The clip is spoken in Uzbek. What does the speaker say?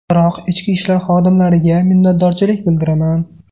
Biroq ichki ishlar xodimlariga minnatdorchilik bildiraman.